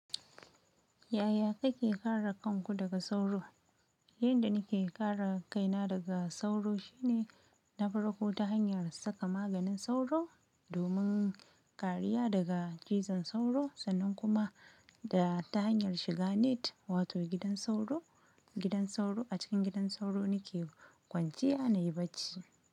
Yaya kake kare kanku daga sauro? Yanda nake kare kaina daga sauro shine na farko ta hanyar saka maganin sauro domin kariya daga cizon sauro sannan kuma da ta hanyar shiga net wato gidan sauro, gidan sauro a cikin gidan sauro nake kwanciya na yi bacci.